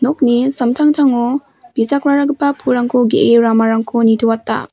nokni samtangtango bijakraragipa pulrangko ge·e ramarangko nitoata.